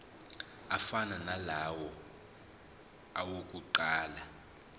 afana nalawo awokuqala